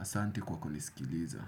Asante kwa kunisikiliza.